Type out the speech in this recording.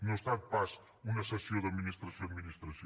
no ha estat pas una cessió d’administració a administració